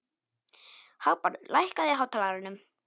Hagbarður, lækkaðu í hátalaranum.